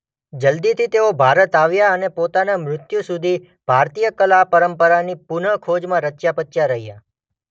જલ્દીથી તેઓ ભારત આવ્યાં અને પોતાના મૃત્યુ સુધી ભારતીય કલા પરંપરાની પુન ખોજમાં રચ્યાપચ્યા રહ્યાં.